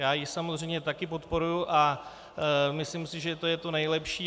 Já ji samozřejmě taky podporuji a myslím si, že to je to nejlepší.